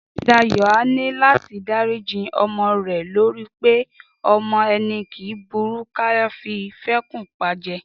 Dayọ̀ á ní láti dáríji ọmọ rẹ̀ torí pé ọmọ ẹni kì í burú ká fi fẹ́kùn pajẹ